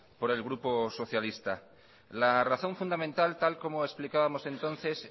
por el grupo socialista la razón fundamental tal como explicábamos entonces